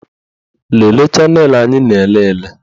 Lelee chanelụ anyị na-elele